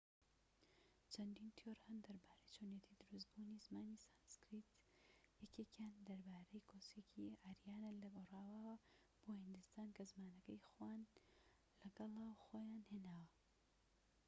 چەندین تیۆر هەن دەربارەی چۆنیەتی دروست بوونی زمانی سانسکریت یەکێکیان دەربارەی کۆچێکی ئاریانە لە خۆرئاواوە بۆ هیندستان کە زمانەکەی خۆان لەگەڵە خۆیان هێناوە